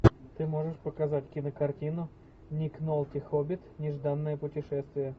ты можешь показать кинокартину ник нолти хоббит нежданное путешествие